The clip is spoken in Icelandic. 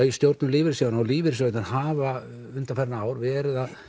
í stjórn lífeyrissjóðanna og lífeyrissjóðirnir hafa undanfarin ár verið að